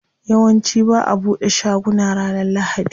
Yawanci ba'a bude shaguna ranar lahadi.